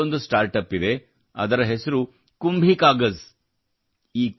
ಮತ್ತೊಂದು start up ಇದೆ ಅದರ ಹೆಸರು ಕುಂಭೀ ಕಾಗಜ್ಕುಂಭಿ ಕಾಗಜ್